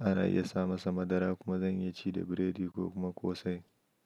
Ana iya sa masa madara kuma zan iya ci da biredi ko kuma ƙosai.